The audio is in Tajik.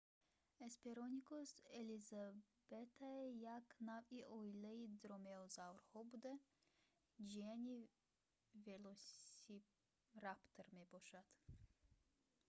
hesperonychus elizabethae як навъи оилаи дромеозаврҳо буда ҷияни велосираптор аст